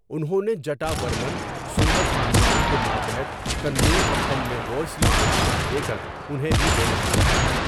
انہوں نے جٹا ورمن سندر پانڈیان کے ماتحت کننور کپم میں ہوئسلوں کو شکست دے کر انہیں بھی بے دخل کر دیا۔